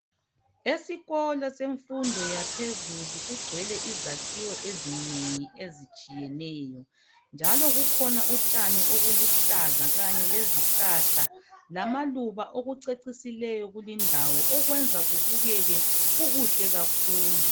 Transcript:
esikolo semfundo yaphezulu kugcwele izakhiwo ezinengi ezitshiyeneyo njalo kukhona utshani obukuhlaza kanye lezihlahla lamaluba okucecisileyo kulindawo okwenza kubukeke kukuhle kakhulu